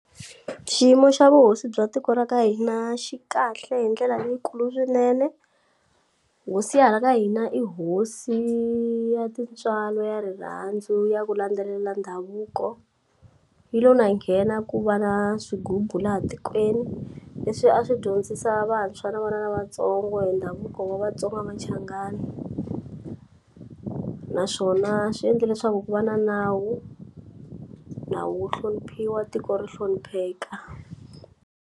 Xiyimo xa vuhosi bya tiko ra ka hina xi kahle hi ndlela leyikulu swinene hosi ya hala ka hina i hosi ya tintswalo ya rirhandzu ya ku landzelela ndhavuko yi lo na nghena ku va na swigubu laha tikweni leswi a swi dyondzisa vantshwa na vana lavatsongo hi ndhavuko wa vatsonga machangani naswona swi endle leswaku ku va na nawu nawu wu hloniphiwa tiko ri hlonipheka.